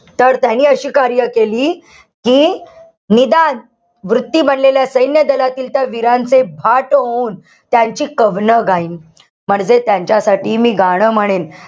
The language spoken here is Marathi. तर त्यांनी अशी कार्य केली, कि निदान वृत्ती बनलेल्या सैन्य दलातील त्या वीरांचे पाठ ओवून त्यांची कवणं गाईन. म्हणजे त्यांच्यासाठी मी गाणं म्हणेन.